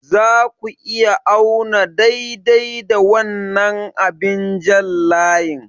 Za ku iya auna daidai da wannan abin jan layi?